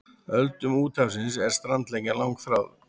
Öldum úthafsins er strandlengjan langþráð.